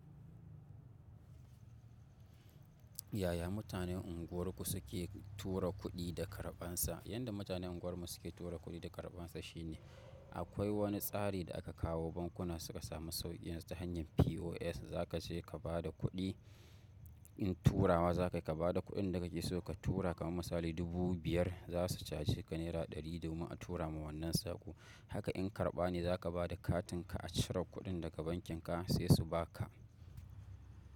Yaya mutanen unguwarku suke tura kuɗi da karɓansa? Yanda matanen unguwarmu suke tura kuɗi da karɓansa shine akwai wani tsari da aka kawo bankuna suka sami sauƙin ta hanyar POS. Za ka je ka ba da kuɗi in tura wa za ka ba da kuɗin da kake so ka tura kaman misali dubu biyar za su caje ka naira ɗari domin a tura ma wannan sako. Haka in karɓa ne za ka ba da katinka a cire kuɗin daga bankinka sai su ba ka.